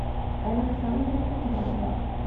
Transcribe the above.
александра петрова